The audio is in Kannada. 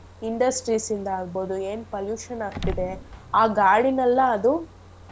Industries ಇಂದ ಆಗ್ಬೋದು ಏನ್ pollution ಆಗ್ತಿದೆ ಆ ಗಾಳಿನೆಲ್ಲ ಅದು.